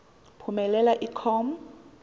phumelela i com